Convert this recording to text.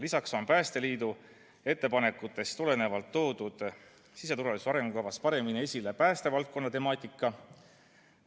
Lisaks on Päästeliidu ettepanekutest tulenevalt toodud siseturvalisuse arengukavas paremini esile päästevaldkonna temaatika.